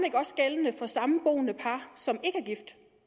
ikke også gældende for samboende par som ikke